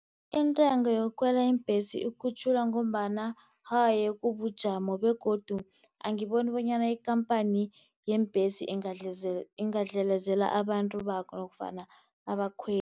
Intengo yokukhwela iimbhesi ikhutjhulwa ngombana haye kubujamo, begodu angiboni bonyana ikampani yeembhesi ingadlelezela abantu nofana abakhweli.